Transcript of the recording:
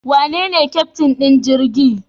Wanene keftin din jirgin?